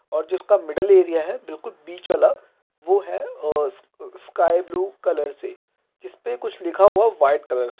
और जिसका middle area है बिल्कुल बीच वाला वो है आ स्का-स्काई ब्लू कलर से जिसपे कुछ लिखा हुआ है वाइट कलर से।